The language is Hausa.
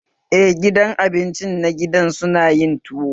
Eh, gidan abinci na gida suna yin tuwo